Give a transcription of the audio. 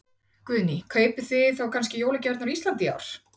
Guðný: Kaupið þið þá kannski jólagjafirnar á Íslandi í ár?